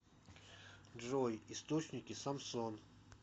джой источники самсон